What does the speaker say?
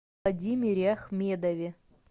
владимире ахмедове